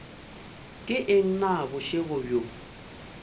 ke eng na bošego bjo